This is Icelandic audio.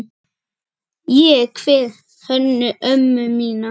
Ég kveð Hönnu ömmu mína.